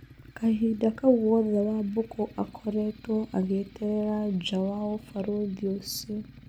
Kahinda kau gothe Wambũkũakoretwo agĩeterera nja wa ũbarũthi ũcio.